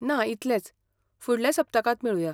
ना, इतलेंच, फुडल्या सप्तकांत मेळुया.